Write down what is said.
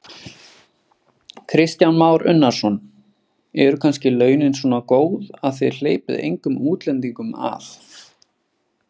Kristján Már Unnarsson: Eru kannski launin svona góð að þið hleypið engum útlendingum að?